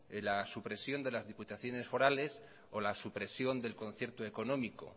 la supresión de las diputaciones forales o la supresión del concierto económico